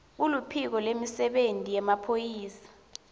kuluphiko lwemisebenti yemaphoyisa